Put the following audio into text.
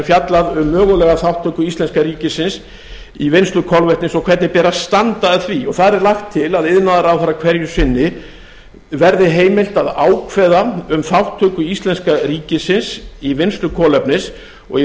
fjallað um mögulega þátttöku íslenska ríkisins í vinnslu kolvetnis og hvernig beri að standa að því og þar er lagt til að iðnaðarráðherra hverju sinni verði heimilt að ákveða um þátttöku íslenska ríkisins í vinnslu kolefnis og í reynd